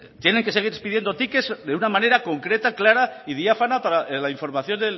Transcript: tienen que seguir expidiendo tickets de una manera concreta clara y diáfana para la información